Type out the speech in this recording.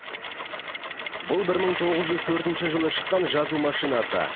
бұл бір мың тоғыз жүз төртінші жылы шыққан жазу машинасы